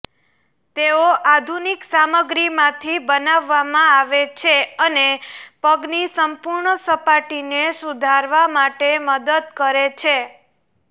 તેઓ આધુનિક સામગ્રીમાંથી બનાવવામાં આવે છે અને પગની સંપૂર્ણ સપાટીને સુધારવા માટે મદદ કરે છે